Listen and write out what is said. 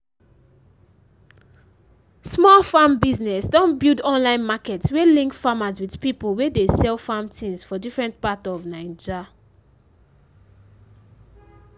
small farm business don build online market wey link farmers with pipo wey de sell farm things for different part of naija